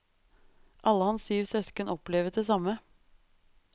Alle hans syv søsken opplevet det samme.